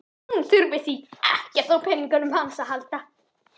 Hún þurfi því ekkert á peningunum hans að halda.